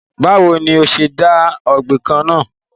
Bawo ni o ṣe de gbọ̀ngàn náa?